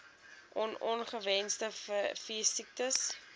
on ongewenste veesiektes